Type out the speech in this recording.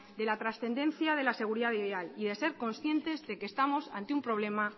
de la trascendencia de la seguridad vial y de ser conscientes de que estamos ante un problema